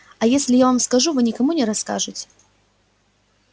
а если я вам скажу вы никому не расскажете